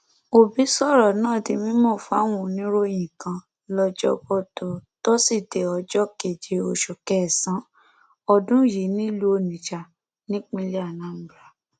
òbí sọrọ náà di mímọ fáwọn oníròyìn kan lọjọbọtò tósídéé ọjọ keje oṣù kẹsànán ọdún yìí nílùú onitsha nípínlẹ anambra